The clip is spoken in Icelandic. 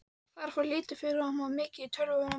Það fór lítið fyrir honum, hann var mikið í tölvum.